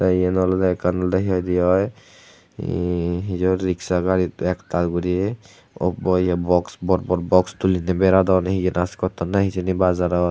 tey eyen olodey ekkan olodey hi hoidey oi ee hiyo riksa garit ektal guri obboye bor bor box tuliney beradon hi dance gotton nahi hijeni bajarot.